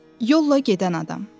Yolla gedən adam.